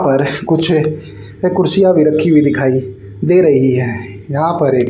पर कुछ ये कुर्सियां भी रखी हुई दिखाई दे रही हैं यहां पर एक--